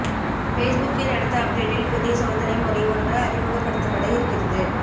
பேஸ்புக்கின் அடுத்த அப்டேட்டில் புதிய சோதனை முறை ஒன்று அறிமுகப்படுத்தப்பட இருக்கிறது